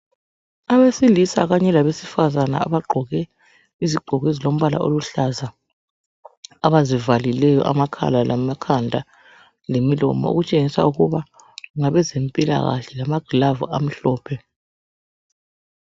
Abesilisa kanye labesifazana abagqoke izigqoko ezilombala oluhlaza abazivalileyo amakhala, lamakhanda lemilomo okutshengisa ukuba ngabezempilakahle lamagilavu amhlophe.